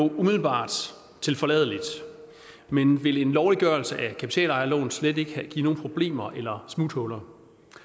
jo umiddelbart tilforladeligt men vil en lovliggørelse af kapitalejerlån slet ikke give nogen problemer eller smuthuller